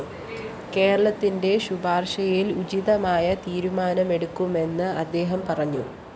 കേരളത്തിന്റെ ശുപാര്‍ശയില്‍ ഉചിതമായ തീരുമാനമെടുക്കുമെന്നും അദ്ദേഹം പറഞ്ഞു